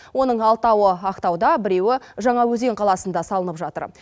оның алтауы ақтауда біреуі жаңаөзен қаласында салынып жатыр